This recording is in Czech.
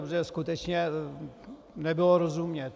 Protože skutečně nebylo rozumět.